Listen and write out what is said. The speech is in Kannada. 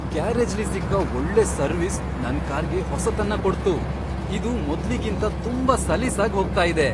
ಗ್ಯಾರೇಜ್ಲಿ ಸಿಕ್ಕ ಒಳ್ಳೆ ಸರ್ವಿಸ್ ನನ್ ಕಾರ್ಗೆ ಹೊಸತನ್ನ ಕೊಡ್ತು , ಇದು ಮೊದ್ಲಿಗಿಂತ ತುಂಬಾ ಸಲೀಸಾಗ್ ಹೋಗ್ತಾ ಇದೆ!